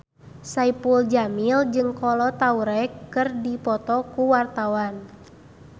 Saipul Jamil jeung Kolo Taure keur dipoto ku wartawan